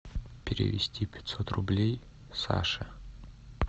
перевести пятьсот рублей саше